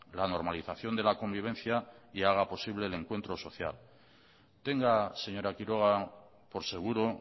la normalización de la convivencia y haga posible el encuentro social tenga señora quiroga por seguro